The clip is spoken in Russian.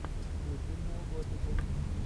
включи нео готику